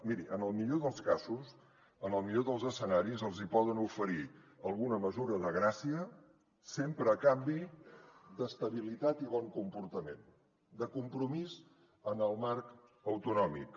miri en el millor dels casos en el millor dels escenaris els poden oferir alguna mesura de gràcia sempre a canvi d’estabilitat i bon comportament de compromís en el marc autonòmic